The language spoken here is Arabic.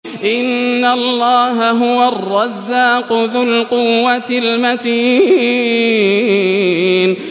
إِنَّ اللَّهَ هُوَ الرَّزَّاقُ ذُو الْقُوَّةِ الْمَتِينُ